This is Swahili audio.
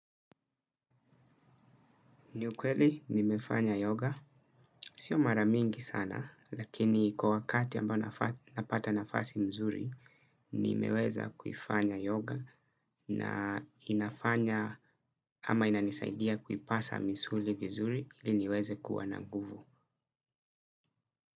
Ni ukweli nimefanya yoga. Sio mara mingi sana lakini kwa wakati ambao napata nafasi mzuri, nimeweza kuifanya yoga na inafanya ama inanisaidia kuipasa misuli vizuri ili niweze kuwa na nguvu.